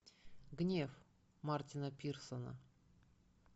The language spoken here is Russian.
гнев мартина пирсона